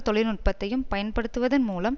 தொழில்நுட்பத்தையும் பயன்படுத்துவதன் மூலம்